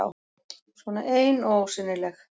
Svona ein og ósýnileg.